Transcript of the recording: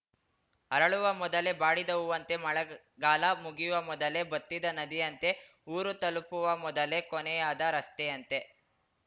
ಅರಳುವ ಮೊದಲೇ ಬಾಡಿದ ಹೂವಂತೆ ಮಳೆಗಾಲ ಮುಗಿಯುವ ಮೊದಲೇ ಬತ್ತಿದ ನದಿಯಂತೆ ಊರು ತಲುಪುವ ಮೊದಲೇ ಕೊನೆಯಾದ ರಸ್ತೆಯಂತೆ